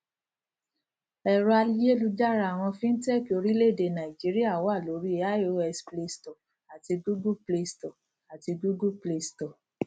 ẹrọ ayélujára àwọn fintech orílẹèdè nàìjíríà wà lórí ios playstore àti google playstore àti google play store